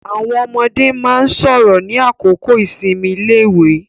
Àwọn ọmọde máa ń sọ̀rọ̀ ní àkókò ìsinmi iléèwé.